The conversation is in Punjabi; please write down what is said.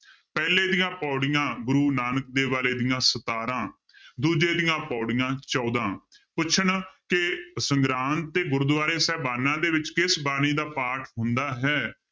ਪਹਿਲੇ ਦੀਆਂ ਪਾਉੜੀਆਂ ਗੁਰੂ ਨਾਨਕ ਦੇਵ ਵਾਲੇ ਦੀਆਂ ਸਤਾਰਾਂ ਦੂਜੇ ਦੀਆਂ ਪਾਉੜੀਆਂ ਚੌਦਾਂ ਪੁੱਛਣ ਕਿ ਸੰਗਰਾਂਦ ਤੇ ਗੁਰਦੁਆਰੇ ਸਾਹਿਬਾਨਾਂ ਦੇ ਵਿੱਚ ਕਿਸ ਬਾਣੀ ਦਾ ਪਾਠ ਹੁੰਦਾ ਹੈ,